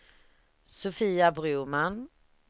Sofia Broman